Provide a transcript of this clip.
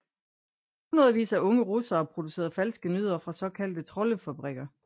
Hundredvis af unge russere producerer falske nyheder fra såkaldte troldefabrikker